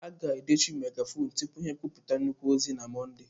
A ga-edochi megafonu tupu ha ekwupụta nnukwu ozi na Mọnde.